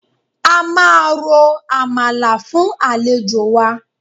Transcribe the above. A máa ro àmàlà fún àlejò wa